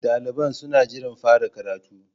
Daliban suna jiran fara karatun.